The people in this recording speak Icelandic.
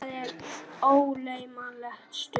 Það er ógleymanleg stund.